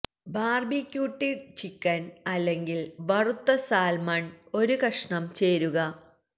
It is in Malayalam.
ബാർബിക്യൂട്ടീഡ് ചിക്കൻ അല്ലെങ്കിൽ വറുത്ത സാൽമൺ ഒരു കഷണം ചേരുക